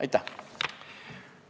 Aitäh!